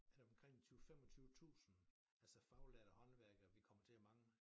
Er det omkring en 20 25 tusind altså faglærte håndværkere vi kommer til at mangle